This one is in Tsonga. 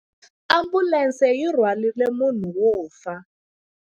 Ambulense yi rhwarile munhu wo fa.